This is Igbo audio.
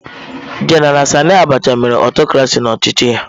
Jenara Sani Abacha mere aụtọcrasị n'ọchịchị ya.